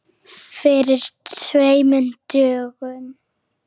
Fyrir tveimur dögum?